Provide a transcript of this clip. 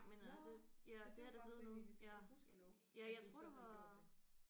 Nåh så det var bare frivilligt ja gudskelov at du så havde gjort det